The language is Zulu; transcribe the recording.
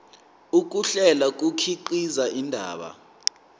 ukuhlela kukhiqiza indaba